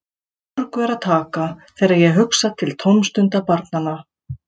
Af mörgu er að taka þegar ég hugsa til tómstunda okkar barnanna.